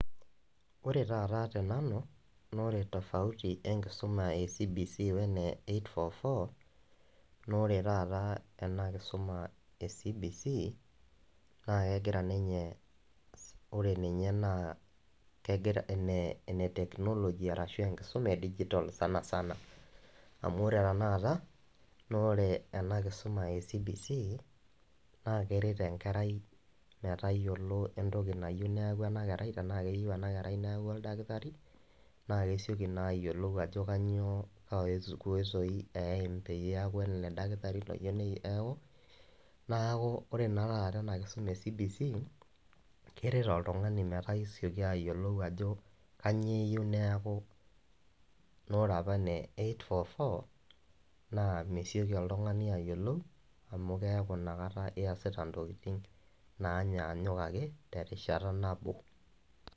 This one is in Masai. Ore taata te nanu noore tofauti enkisoma e cbc oene 8-4-4 noore taata enakisuma e  CBC naakegira ninye, ore ninye naa kegira, eneteknoloji arashu enkisuma edigitol  sanasana amu ore tenakata noore ena kisoma e CBC naakeret enkerai metayiolo entoki nayou neaku enakerai tenaakeyou ena kerai oldakitari naakesioki naayiolou ajo kanyoo uwesoi peyie eaku ele [dakitari loyou neaku naaku ore naa taata ena kisoma e  cbc keret oltung'ani metaa eisioki ayiolou ajo kanyiooyou neaku, noorapa ne 8-4-4 naa mesioki oltung'ani ayiolou amu keaku inakata iasita intokitin naanyanyuk ake terishata nabo.